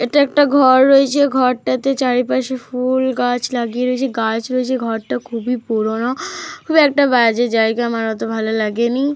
এটা একটা ঘর রয়েছে। ঘরটাতে চারপাশে ফুল গাছ লাগিয়ে রয়েছে। গাছ রয়েছে। ঘরটা খুবই পুরনো। খুব একটা বাজে জায়গা। আমার অত ভালো লাগেনি।